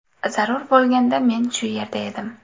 Zarur bo‘lganda men shu yerda edim.